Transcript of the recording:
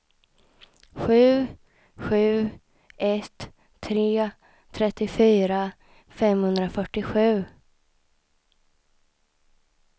sju sju ett tre trettiofyra femhundrafyrtiosju